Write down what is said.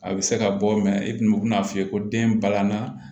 A bɛ se ka bɔ i tun bɛ n'a f'i ye ko den balanna